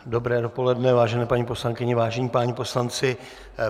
Dobré dopoledne, vážené paní poslankyně, vážení páni poslanci.